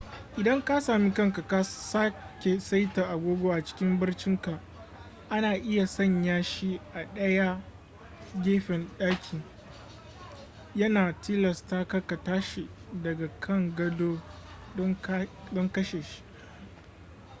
idan ka sami kanka ka sake saita agogo a cikin barcinka ana iya sanya shi a ɗaya gefen ɗakin yana tilasta ka tashi daga kan gado don kashe shi